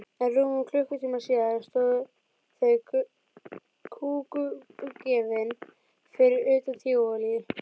En rúmum klukkutíma síðar stóðu þau kúguppgefin fyrir utan Tívolí.